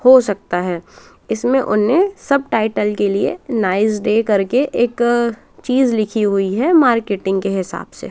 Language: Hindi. हो सकता है इसमें उन्हें सब टाइटल के लिए नाईस डे करके एक चीज़ लिखी हुई है मार्केटिंग के हिसाब से।